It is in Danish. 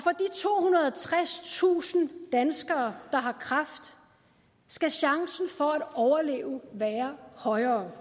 tredstusind danskere der har kræft skal chancen for at overleve være højere